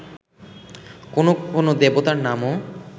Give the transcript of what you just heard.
কোন কোন দেবতার নামও